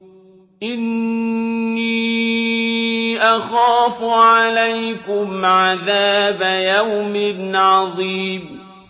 إِنِّي أَخَافُ عَلَيْكُمْ عَذَابَ يَوْمٍ عَظِيمٍ